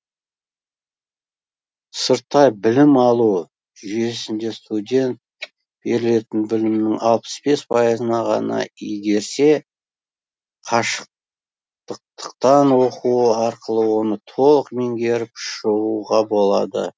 сырттай білім алу жүйесінде студент берілетін білімнің алпыс бес пайызын ғана игерсе қашықтытықтан оқу арқылы оны толық меңгеріп шығуға болады